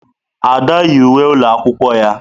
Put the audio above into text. Ada yi uwe ụlọ akwụkwọ ya.